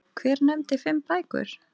Hver nefndi fimm bækur.